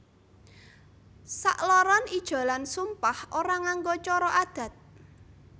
Sakloron ijolan sumpah ora nganggo cara adat